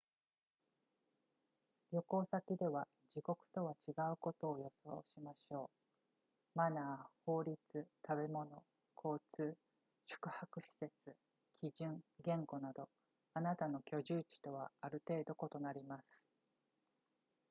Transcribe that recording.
旅行先では自国とは違うことを予想しましょうマナー法律食べ物交通宿泊施設基準言語などあなたの居住地とはある程度異なります